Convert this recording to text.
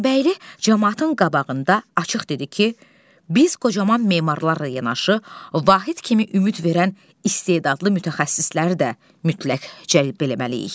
Vəzirbəyli camaatın qabağında açıq dedi ki, biz qocaman memarlar yanaşı Vahid kimi ümid verən istedadlı mütəxəssisləri də mütləq cəlb eləməliyik.